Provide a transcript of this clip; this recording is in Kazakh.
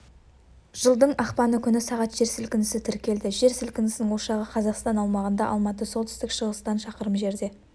жылдың ақпаны күні сағат жер сілкінісі тіркелді жер сілкінісінң ошағы қазақстан аумағында алматы солтүстік-шығыстан шақырым жерде